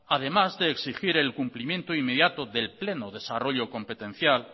además de exigir el cumplimiento inmediato del pleno desarrollo competencial